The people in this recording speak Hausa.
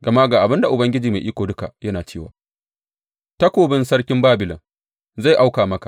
Gama ga abin da Ubangiji Mai Iko Duka yana cewa, Takobin sarkin Babilon zai auko maka.